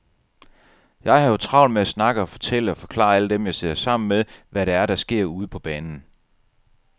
Jeg har jo travlt med at snakke og fortælle og forklare alle dem, jeg sidder sammen med, hvad det er, der sker ude på banen.